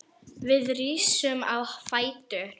Við rísum á fætur.